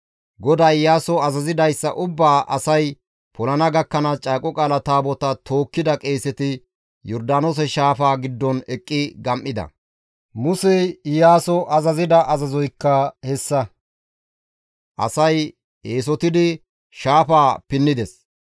GODAY Iyaaso azazidayssa ubbaa asay polana gakkanaas Caaqo Qaala Taabotaa tookkida qeeseti Yordaanoose shaafaa giddon eqqi gam7ida; Musey Iyaaso azazida azazoykka hessa; asay eesotidi shaafaa pinnides.